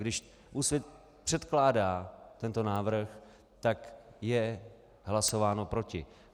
Když Úsvit předkládá tento návrh, tak je hlasováno proti.